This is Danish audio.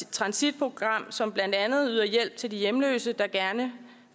transitprogram som blandt andet yder hjælp til de hjemløse der gerne